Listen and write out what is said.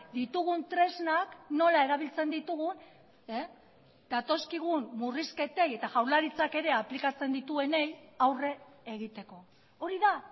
ditugun tresnak nola erabiltzen ditugun datozkigun murrizketei eta jaurlaritzak ere aplikatzen dituenei aurre egiteko hori da